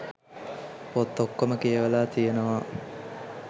පොත් ඔක්කොම කියවලා තියනවා.